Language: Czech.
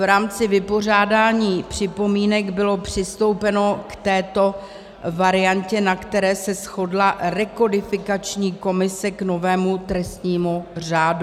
V rámci vypořádání připomínek bylo přistoupeno k této variantě, na které se shodla rekodifikační komise k novému trestnímu řádu.